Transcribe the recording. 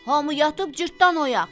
Hamı yatıb, Cırtdan oyaq.